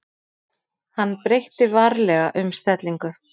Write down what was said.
Hann breytti varlega um stellingu.